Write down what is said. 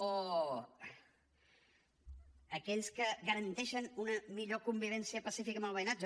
o aquelles que garanteixen una millor convivència pacífica amb el veïnatge